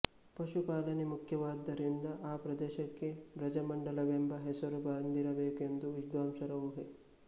ಪಶುಪಾಲನೆ ಮುಖ್ಯವಾದ್ದರಿಂದ ಆ ಪ್ರದೇಶಕ್ಕೆ ಬ್ರಜಮಂಡಲವೆಂಬ ಹೆಸರು ಬಂದಿರಬೇಕೆಂದು ವಿದ್ವಾಂಸರ ಊಹೆ